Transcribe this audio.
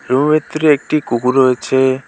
রুমের ভিতরে একটি কুকুর রয়েছে।